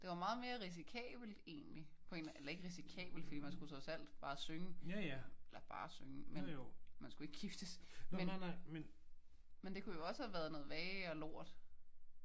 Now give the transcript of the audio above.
Det var meget mere risikabelt egentlig. På en eller anden eller ikke risikabelt for man skulle trods alt bare synge. Eller bare synge. Men man skulle ikke giftes. Men det kunne jo også have været noget værre lort